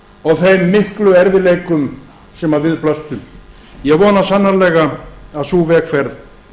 og þeim miklu erfiðleikum sem við blöstu ég vona sannarlega að sú vegferð